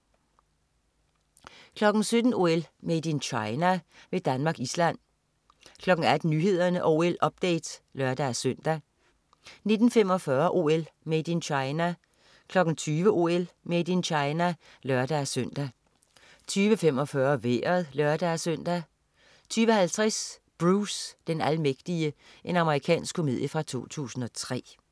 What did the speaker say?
17.00 OL: Made in China med Danmark-Island 18.00 Nyhederne og OL-update (lør-søn) 19.45 OL: Made in China 20.00 OL: Made in China (lør-søn) 20.45 Vejret (lør-søn) 20.50 Bruce den almægtige. Amerikansk komedie fra 2003